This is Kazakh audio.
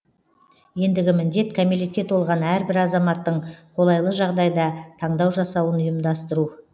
ендігі міндет кәмелетке толған әрбір азаматтың қолайлы жағдайда таңдау жасауын ұйымдастыру